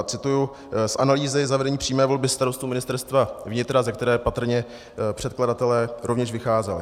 A cituji z analýzy zavedení přímé volby starostů Ministerstva vnitra, ze které patrně předkladatelé rovněž vycházeli.